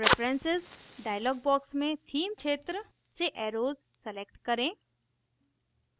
preferences dialog box में theme क्षेत्र से एर्रोस select करें